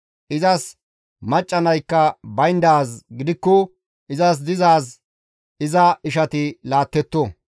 Izas macca naykka bayndaaz gidikko izas dizaaz iza ishati laattetto.